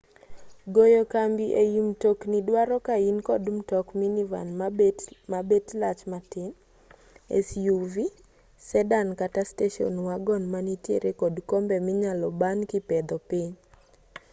goyo kambi ei mtokni duaro ka in kod mtok minivan ma bet lach matin suv sedan kata station wagon manitiere kod kombe minyalo ban kipedho piny